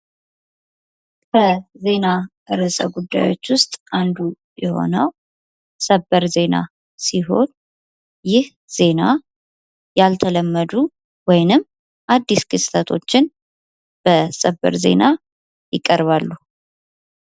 ከዜና እርሰጉዳዮች ውስጥ አንዱ የሆነው ሰበር ዜና ሲሆን ይህ ዜና ያልተለመዱ ወይም አዲስ ክስተቶችን በሰበር ዜና ይቀርባሉ።